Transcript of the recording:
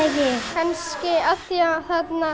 kannski af því að